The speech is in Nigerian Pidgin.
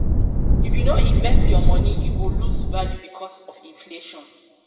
if you no invest your moni e go lose value because of inflation.